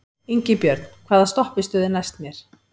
Ingibjörn, hvaða stoppistöð er næst mér?